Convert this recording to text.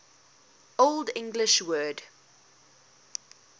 old english word